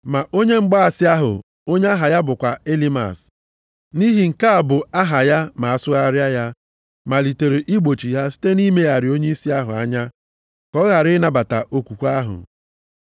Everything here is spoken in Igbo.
Ma onye mgbaasị ahụ, onye aha ya bụkwa Elimas (nʼihi nke a bụ aha ya ma asụgharịa ya) malitere igbochi ha site nʼimegharị onyeisi ahụ anya ka ọ ghara ịnabata okwukwe ahụ.